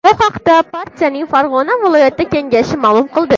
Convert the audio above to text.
Bu haqda partiyaning Farg‘ona viloyati Kengashi ma’lum qildi .